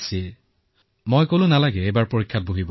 আমি তেওঁলোকৰ ওচৰত কৃতজ্ঞ যে তেওঁলোকে আমাক সহযোগিতা কৰিলে